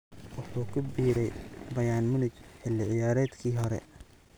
Wuxuu ku biiray Bayern Munich xilli ciyaareedkii hore.